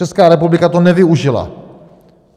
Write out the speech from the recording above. Česká republika to nevyužila.